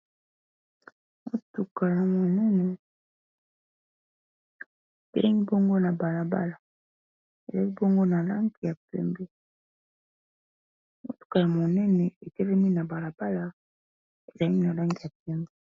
Mutuka ya munene etelemi bongo na balabala eyeli komonana ya pembe, mutuka ya monene etelemi na balabala ezali na langi ya pembe.